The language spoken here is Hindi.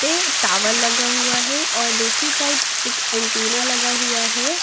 पे टावल लगा हुआ है और दूसरी साइड एक एंटीना लगा हुआ है।